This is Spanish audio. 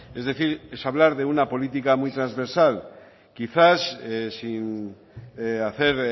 es decir es hablar de una política muy trasversal quizás sin hacer